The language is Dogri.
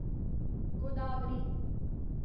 गोदावरी